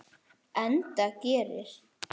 Enda gerir